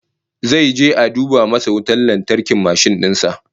Zai je a duba masa wutar lantarkin mashin din sa